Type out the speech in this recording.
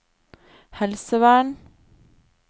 helsevern